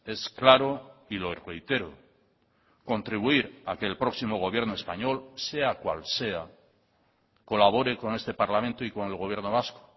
es claro y lo reitero contribuir a que el próximo gobierno español sea cual sea colabore con este parlamento y con el gobierno vasco